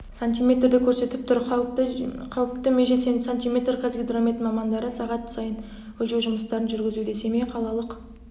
сантиметрді көрсетіп тұр қауіпті меже сантиметр қазгидромет мамандары сағат сайын өлшеу жұмыстарын жүргізуде семей қалалық